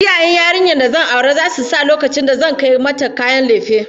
Iyayen yarinyar da zan aura zasu sa lokacin da zan kai mata kayan lefe